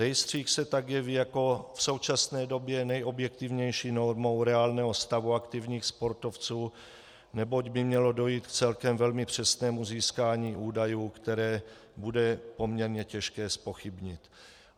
Rejstřík se tak jeví jako v současné době nejobjektivnější normou reálného stavu aktivních sportovců, neboť by mělo dojít k celkem velmi přesnému získání údajů, které bude poměrně těžké zpochybnit.